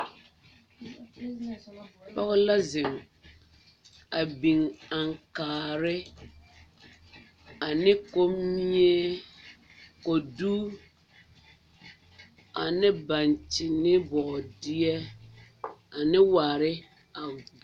poge la zeng a bing ankaare ane kombie kodu ane bankyen ne bɔɔdeɛ ane waare a